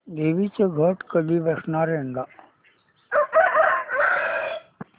देवींचे घट कधी बसणार यंदा